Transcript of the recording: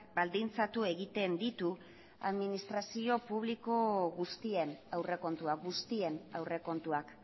baldintzatu egiten ditu administrazio publiko guztien aurrekontua guztien aurrekontuak